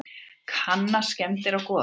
Kanna skemmdir á Goðafossi